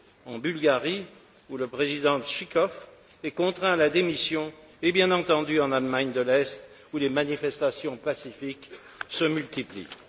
en Bulgarie, où le président Jivkov est contraint à la démission et, bien entendu, en Allemagne de l'Est où les manifestations pacifiques se multiplient.